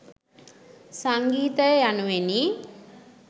සංගීතය යනුවෙනි.